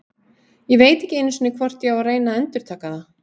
Ég veit ekki einu sinni hvort ég á að reyna að endurtaka það.